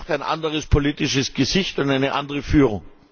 Er braucht ein anderes politisches Gesicht und eine andere Führung.